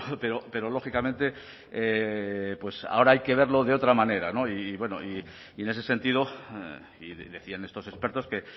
pero lógicamente pues ahora hay que verlo de otra manera y en ese sentido decían estos expertos que